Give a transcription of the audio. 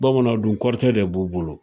Bamanan dun kɔrɔtɛ de b'u bolo